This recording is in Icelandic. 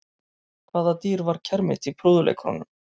Hvaða dýr var kermit í prúðuleikurunum?